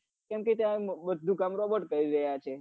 કેમકે ત્યાં બઘુ કામ robot કરી રહ્યા છે